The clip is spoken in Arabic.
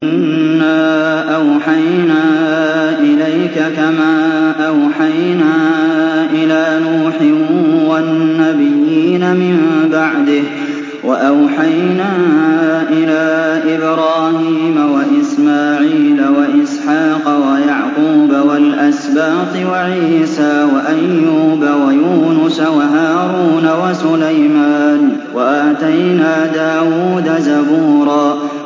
۞ إِنَّا أَوْحَيْنَا إِلَيْكَ كَمَا أَوْحَيْنَا إِلَىٰ نُوحٍ وَالنَّبِيِّينَ مِن بَعْدِهِ ۚ وَأَوْحَيْنَا إِلَىٰ إِبْرَاهِيمَ وَإِسْمَاعِيلَ وَإِسْحَاقَ وَيَعْقُوبَ وَالْأَسْبَاطِ وَعِيسَىٰ وَأَيُّوبَ وَيُونُسَ وَهَارُونَ وَسُلَيْمَانَ ۚ وَآتَيْنَا دَاوُودَ زَبُورًا